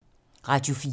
Radio 4